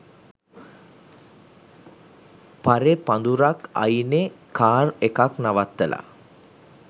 පරෙ පඳුරක් අයිනෙ කාර් එකක් නවත්තල